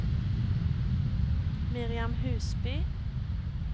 Miriam Husby